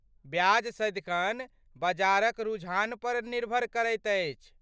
ब्याज सदिखन बजारक रुझानपर निर्भर करैत अछि।